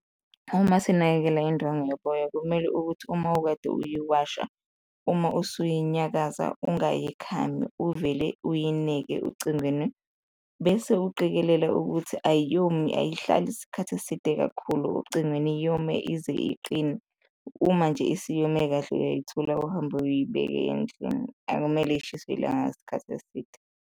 Uma sinakekela indwangu yoboya kumele ukuthi uma ukade uyiwasha, uma usiyinyakaza ungayikhami, uvele uyineke ocingweni bese uqikelele ukuthi ayomi, ayihlali isikhathi eside kakhulu ocingweni, yome ize iqine. Uma nje isiyome kahle uyayithula uhambe uyibeke endlini, akumele ishiswe ilanga isikhathi eside.